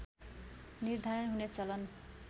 निर्धारण हुने चलन